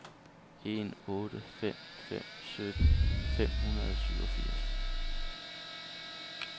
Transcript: en otte fem fem sytten fem hundrede og syvogfirs